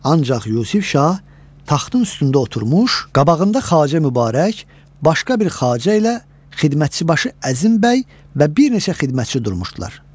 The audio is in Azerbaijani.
Ancaq Yusif Şah taxtın üstündə oturmuş, qabağında Xacə Mübarək, başqa bir Xacə ilə xidmətçi, başı Əzim bəy və bir neçə xidmətçi durmuşdular.